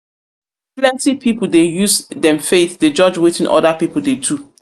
pipu dey use dem faith dey judge wetin other pipu dey do.